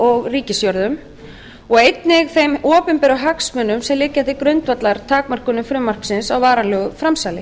og á ríkisjörðum og einnig þeim opinberu hagsmunum sem liggja til grundvallar takmörkunum frumvarpsins á varanlegu framsali